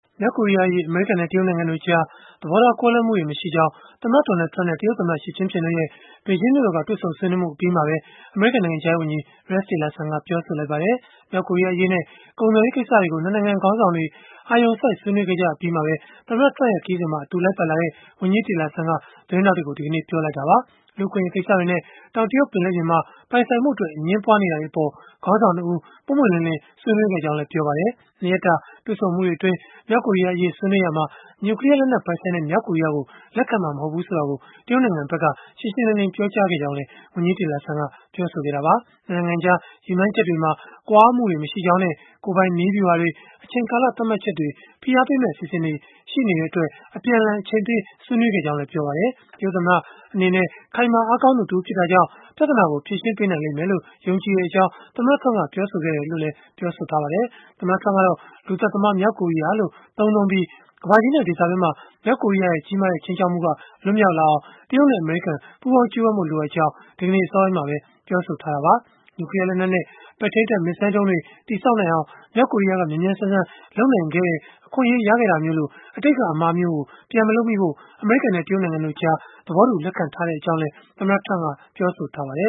မြောက်ကိုရီးယားအရေး အမေရိကန်နဲ့ တရုတ်နိုင်ငံတို့ကြား သဘောထားကွဲလွဲမှုတွေ မရှိကြောင်း၊ သမ္မတ Donald Trump နဲ့ တရုတ်သမ္မတ Xi Jinping တို့ရဲ့ ဘေဂျင်းမြို့တော်က တွေ့ဆုံဆွေးနွေးမှုအပြီးမှာပဲ အမေရိကန်နိုင်ငံခြားရေးဝန်ကြီး Rex Tillerson က ပြောဆိုလိုက်ပါတယ်။ မြောက်ကိုရီးယားအရေးနဲ့ ကုန်သွယ်ရေးကိစ္စတွေကို ၂ နိုင်ငံ ခေါင်းဆောင်တွေ အာရုံစိုက်ဆွေးနွေးခဲ့ကြအပြီး၊ သမ္မတ Trump ရဲ့ ခရီးစဉ်မှာ အတူလိုက်ပါလာတဲ့ ဝန်ကြီး Tillerson က သတင်းထောက်တွေကို ဒီကနေ့ပဲ ပြောဆိုလိုက်တာပါ။ လူ့အခွင့်အရေး ကိစ္စတွေနဲ့ တောင်တရုတ် ပင်လယ်ပြင်မှာ ပိုင်ဆိုင်မှုအတွက် အငြင်းပွားနေတာတွေအပေါ် ခေါင်းဆောင် ၂ ဦး ပွင့်ပွင့်လင်းလင်း ဆွေးနွေးခဲ့တယ်လို့လည်း ပြောပါတယ်။ ၂ ရက်တာ တွေ့ဆုံမှုတွေအတွင်း မြောက်ကိုရီးယားအရေး ဆွေးနွေးရာမှာ နျူကလီးယားလက်နက် ပိုင်ဆိုင်တဲ့ မြောက်ကိုရီးယားကို လက်ခံမှာ မဟုတ်ဘူးဆိုတာကို တရုတ်နိုင်ငံက ရှင်းရှင်းလင်းလင်း ပြောကြားခဲ့ကြောင်းလည်း ဝန်ကြီး Tillerson က ပြောဆိုခဲ့တာပါ။ ၂ နိုင်ငံကြား ရည်မှန်းချက်တွေမှာ ကွာဟမှုတွေ မရှိကြောင်းနဲ့ ကိုယ်ပိုင်နည်းဗျုဟာတွေ၊ အချိန်ကာလသတ်မှတ်ချက်တွေ၊ ဖိအားပေးမယ့် အစီအစဉ်တွေ ရှိကြတဲ့အတွက် အပြန်အလှန် အချိန်ပေးဆွေးနွေးခဲ့တယ်လို့လည်း ပြောပါတယ်။ တရုတ်သမ္မတ Xi Jinping အနေနဲ့ ခိုင်မာအားကောင်းသူ တဦးဖြစ်တာကြောင့်၊ ပြဿနာကို ဖြေရှင်းပေးနိုင်မယ်လို့ ယုံကြည်ကြောင်း သမ္မတ Trump က ပြောခဲ့တယ်လို့လည်း ဆိုပါတယ်။ သမ္မတ Trump ကတော့ လူသတ်သမားမြောက်ကိုရီးယားလို့ သုံးနှုန်းပြီး၊ ကမ္ဘာကြီးနဲ့ ဒေသတွင်းမှာ မြောက်ကိုရီးယားရဲ့ ကြီးမားတဲ့ ခြိမ်းခြောက်မှုက လွတ်မြောက်အောင် တရုတ်နဲ့ အမေရိကန် ပူးပေါင်းကြိုးပမ်းဖို့ လိုအပ်ကြောင်း ဒီကနေ့ အစောပိုင်းမှာပဲ ပြောဆိုခဲ့တာပါ။ နျူကလီးယား လက်နက်နဲ့ ပဲ့ထိန်းတပ်မစ်ဇိုင်းဒုံးတွေ တည်ဆောက်နိုင်အောင် မြောက်ကိုရီးယားက မြန်မြန်ဆန်ဆန် လုပ်နိုင်ခဲ့တဲ့ အခွင့်အရေးရခဲ့တာမျိုးလို အတိတ်က အမှားမျိုး ပြန်မလုပ်မိဖို့ အမေရိကန်နဲ့ တရုတ်နိုင်ငံတို့ကြား သဘောတူ လက်ခံထားကြောင်းလည်း သမ္မတ Trump က ပြောဆိုခဲ့ပါတယ